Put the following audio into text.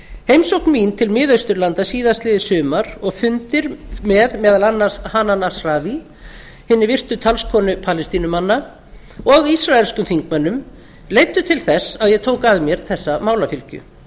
heimsókn mín til mið austurlanda síðastliðið sumar og fundir með meðal annars með hanan ashrawi hinni virtu talskonu palestínumanna og ísraelskum þingmönnum leiddu til þess að ég tók að mér þessa málafylgju